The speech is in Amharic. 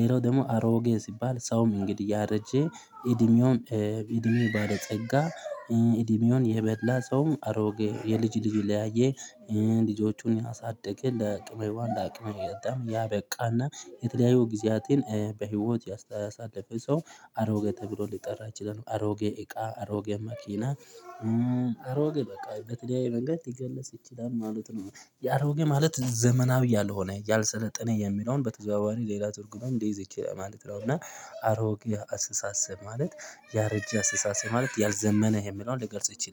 ሌላው ደግሞ አሮጌ ሲባል ሰውም እንግዲህ ያረጀ እድሜውን እድሜ ባለጸጋ እድሜውን የበላ ሰውም አሮጌ የልጅ ልጅ ለያየ ልጆቹን ያሳድገ ለአቅመ ሄዋን ለአቅመ አዳም ያበቃና የተለያዩ ጊዜያቴን በህይወት ያሳለፈ ሰው አሮጌ ተብሎ ሊጠራ ይችላል። አሮጌ እቃ አሮጌ መኪና። አሮጌ በቃ በተለያየ መንገድ ሊገለጽ ይችላል ማለት ነው። የአሮጌ ማለት ዘመናዊ ያልሆነ ያልሰለጠነ የሚለውን በተዘዋዋሪ ሌላ ትርጉም ሊይዝ ይችላል ማለት ነው። እና አሮጌ አስተሳሰብ ማለት ያረጀ አስተሳሰብ ማለት ያልዘመነ የሚለውን ሊገልጽ ይችላል